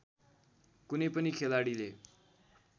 कुनै पनि खेलाडीले